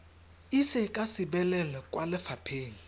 ise ka sebelel kwa lefapheng